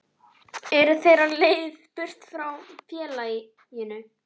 Eru þeir á leið burt frá félaginu?